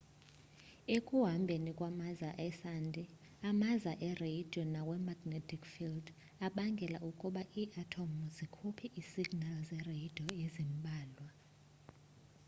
ekuhambeni kwamaza esandi amaza ereyidiyo nawe-magnetic field abangela ukuba ii-athomu zikhuphe iisignali zereyidiyo ezimbalwa